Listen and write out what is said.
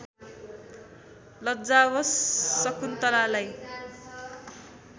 लज्जावश शकुन्तलालाई